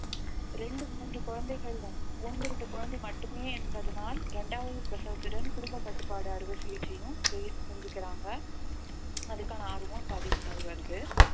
இரண்டு மூன்று குழந்தைகளுடன் ஒன்று இரண்டு குழந்தை மட்டுமே என்பதனால் இரண்டாவது பிரசவத்துடன் குடும்ப கட்டுப்பாடு அறுவை சிகிச்சையும் செய்யு~ செஞ்சுக்கிறாங்க அதுக்கான ஆர்வம் இப்ப அதிகமாகி வருது